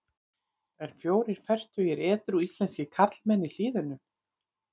En fjórir fertugir edrú íslenskir karlmenn í Hlíðunum.